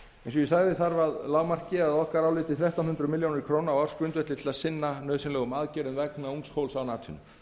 eins og ég sagði áðan þarf að lágmarki þrettán hundruð milljónir króna á ársgrundvelli til að sinna aðgerðum vegna ungs fólks án atvinnu